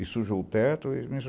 E sujou o teto e me